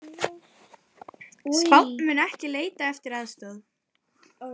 Spánn mun ekki leita eftir aðstoð